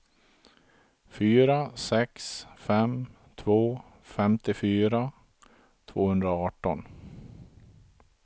fyra sex fem två femtiofyra tvåhundraarton